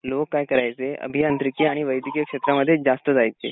लोक काय करायचे अभियंत्रिकी आणि वैद्यकीय श्रेत्रामध्येच जास्त जायचे